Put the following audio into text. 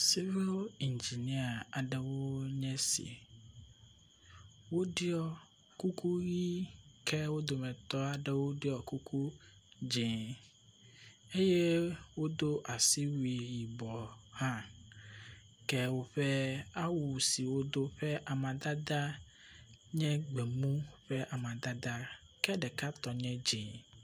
Sivili ŋginia aɖewo nye esi, woɖuɔ kuku ʋi ke wo dometɔ aɖewo ɖɔ kuku dzɛ̃ eye wodo asiwui yibɔ hã ke woƒe awu si wodo ƒe amadada nye gbemu ƒe amadada ke ɖeka tɔ nye dzɛ̃.